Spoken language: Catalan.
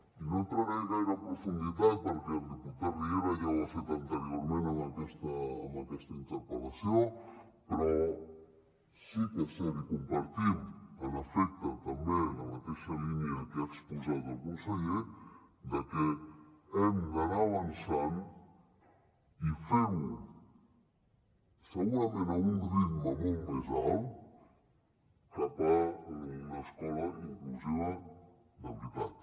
i no hi entraré gaire en profunditat perquè el diputat riera ja ho ha fet anteriorment amb aquesta interpel·lació però sí que és cert i compartim en efecte també en la mateixa línia que ha exposat el conseller que hem d’anar avançant i fer ho segurament a un ritme molt més alt cap a una escola inclusiva de veritat